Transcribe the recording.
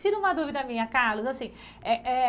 Tira uma dúvida minha, Carlos. assim é é